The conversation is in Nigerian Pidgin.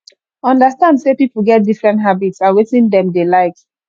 understand sey pipo get different habits and wetin dem dey like